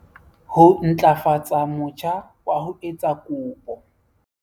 Ho ntlafatsa motjha wa ho etsa kopo